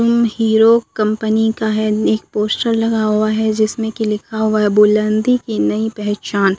अं Hero company का है नि पोस्टर लगा हुआ है जिसमें की लिखा हुआ है बुलंदी की नई पहचान--